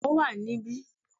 Ó wà ní bí